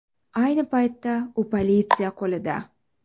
Ayni paytda u politsiya qo‘lida.